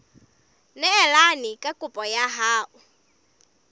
neelane ka kopo ya hao